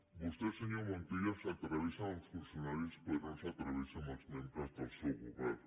vostè senyor montilla s’atreveix amb els funcionaris però no s’atreveix amb els membres del seu govern